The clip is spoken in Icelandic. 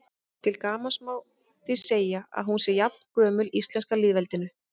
Til gamans má því segja að hún sé jafngömul íslenska lýðveldinu.